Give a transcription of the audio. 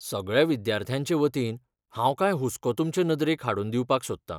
सगळ्या विद्यार्थ्यांचे वतीन, हांव कांय हुस्को तुमचे नदरेक हाडून दिवपाक सोदतां.